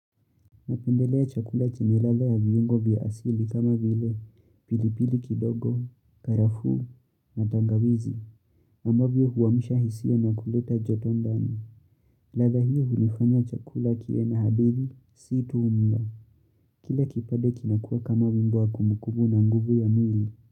Napendelea chakula chenye ladha ya viungo vya asili kama vile, pilipili kidogo, karafuu na tangawizi. Ambavyo huamsha hisia na kuleta jotondani. Ladha hiyo hunifanya chakula kiwe na hadithi, si tu mlo. Kila kipade kinakua kama wimbo wa kumukumu na nguvu ya mwili.